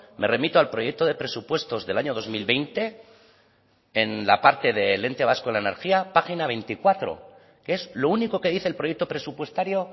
me remito al proyecto de presupuestos del año dos mil veinte en la parte del ente vasco de la energía página veinticuatro que es lo único que dice el proyecto presupuestario